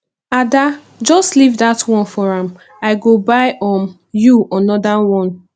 ada just leave dat one for am i go buy um you another one